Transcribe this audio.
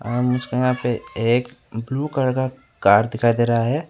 और यहाँ पे एक ब्लू कलर की दिखाई दे रहा है।